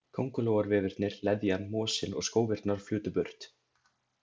Kóngulóarvefirnir, leðjan, mosinn og skófirnar flutu burt.